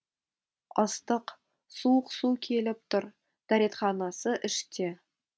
ыстық суық су келіп тұр дәретханасы іште